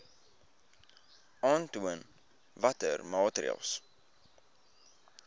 aantoon watter maatreëls